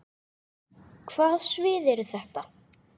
Hvaða svið eru þetta?